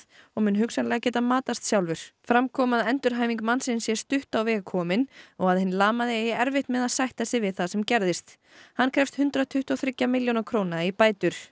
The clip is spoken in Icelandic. og mun hugsanlega geta matast sjálfur með fram kom að endurhæfing mannsins sé stutt á veg komin og að hinn lamaði eigi erfitt með að sætta sig við það sem gerðist hann krefst hundrað tuttugu og þriggja milljóna króna í bætur